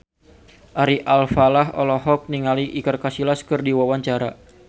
Ari Alfalah olohok ningali Iker Casillas keur diwawancara